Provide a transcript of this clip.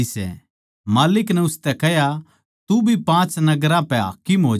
माल्लिक नै उसतै कह्या तू भी पाँच नगरां पै हाकिम होज्या